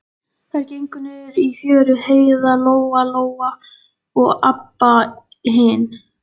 Svona nokkuð gerir enginn að gamni sínu.